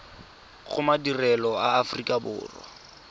go madirelo a aforika borwa